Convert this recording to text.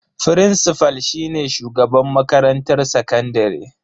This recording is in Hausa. Frincifal shine shugaban makarantar sakandare.